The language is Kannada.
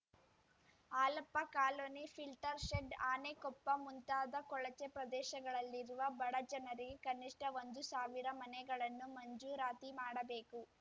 Halappa colony filter shed Anekoppa ಮುಂತಾದ ಕೊಳಚೆ ಪ್ರದೇಶಗಳಲ್ಲಿರುವ ಬಡ ಜನರಿಗೆ ಕನಿಷ್ಟ ಒಂದು ಸಾವಿರ ಮನೆಗಳನ್ನು ಮಂಜೂರಾತಿ ಮಾಡಬೇಕು